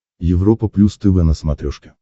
европа плюс тв на смотрешке